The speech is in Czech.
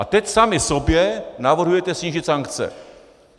A teď sami sobě navrhujete snížit sankce.